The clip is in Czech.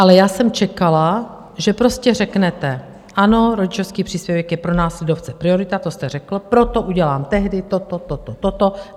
Ale já jsem čekala, že prostě řeknete: Ano, rodičovský příspěvek je pro nás lidovce priorita - to jste řekl - proto udělám tehdy toto, toto, toto.